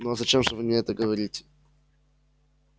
ну зачем же вы мне это говорите